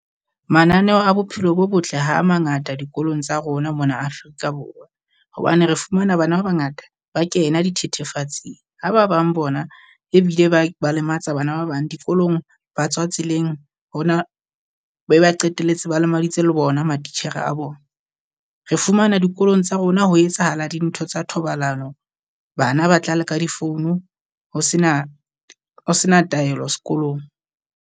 Mananeo a bophelo bo botle ha a mangata dikolong tsa rona mona Afrika Borwa. Hobane re fumana bana ba bangata ba kena dthethefatsi, ha ba bang bona ebile ba ba lematsa bana ba bang dikolong ba tswa tseleng hona be ba qetelletse ba lemaditse le bona matitjhere a bona. Re fumana dikolong tsa rona ho etsahala dintho tsa thobalano, bana ba tlale ka difounu ho sena ho sena taelo sekolong.